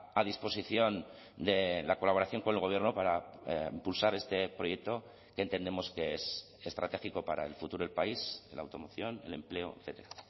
a disposición de la colaboración con el gobierno para impulsar este proyecto que entendemos que es estratégico para el futuro del país la automoción el empleo etcétera